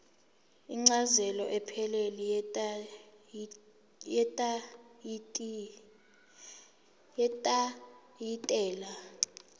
incazelo ephelele yetayitela